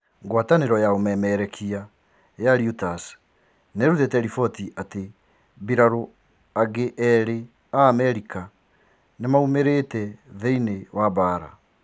Guataniro ya ũmemerekia ya Reuters niihũrite riboti ati mbirarũ inge igiri cia Amerika nimaumirite thĩiniĩ wa mbara.